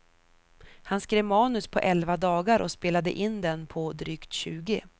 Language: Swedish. Han skrev manus på elva dagar och spelade in den på drygt tjugo.